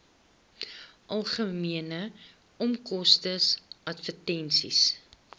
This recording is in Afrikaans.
algemene onkoste advertensies